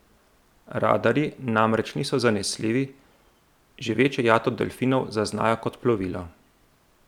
Radarji namreč niso zanesljivi, že večjo jato delfinov zaznajo kot plovilo.